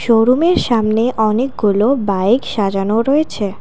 শোরুমের সামনে অনেকগুলো বাইক সাজানো রয়েছে।